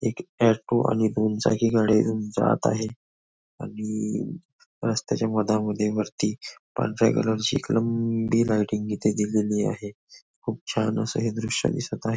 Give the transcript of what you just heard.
एक ऑटो आणि दोन चाकी गाडी जात आहे आणि स्त्याच्या मधामध्ये वरती पांढऱ्या कलर ची एक लंबी लायटिंग इथे दिलेली आहे खूप छान असं हे दृश्य दिसत आहे.